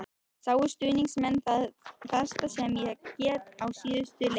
Sáu stuðningsmennirnir það besta sem ég get á síðustu leiktíð?